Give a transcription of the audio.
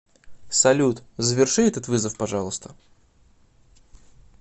салют заверши этот вызов пожалуйста